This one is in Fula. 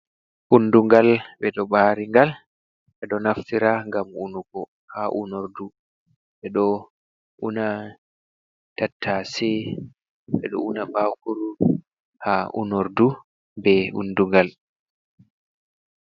Undungal ɓe ɗo ɓaari ngal. Ɓe ɗo naftira ngam unugo haa unordu. Ɓe ɗo una tattase, ɓe ɗo una baakuru haa unordu be undungal.